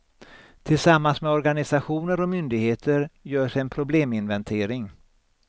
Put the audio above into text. Tillsammans med organisationer och myndigheter görs en probleminventering.